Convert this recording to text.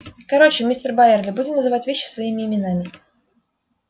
короче мистер байерли будем называть вещи своими именами